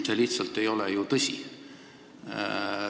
See lihtsalt ei ole tõsi.